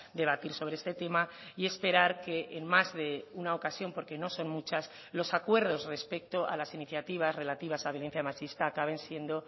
debatir sobre este tema y esperar que en más de una ocasión porque no son muchas los acuerdos respecto a las iniciativas relativas a violencia machista acaben siendo